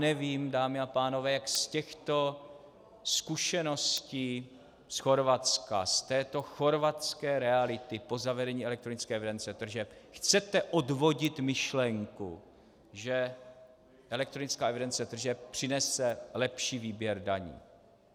Nevím, dámy a pánové, jak z těchto zkušeností z Chorvatska, z této chorvatské reality po zavedení elektronické evidence tržeb, chcete odvodit myšlenku, že elektronická evidence tržeb přinese lepší výběr daní.